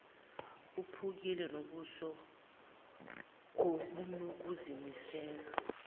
ephukile ngobuso obunokuzimisela